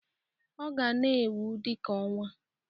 Ọ ga-na enwu dị ka ọnwa.